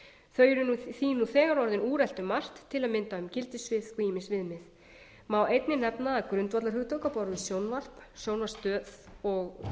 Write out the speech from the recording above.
þau eru því þegar orðin úrelt um margt til að mynda um gildissvið og ýmis viðmið einnig má nefna að grundvallarhugtök á borð við sjónvarp sjónvarpsstöð og